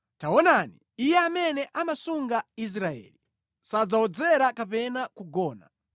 Taonani, Iye amene amasunga Israeli sadzawodzera kapena kugona.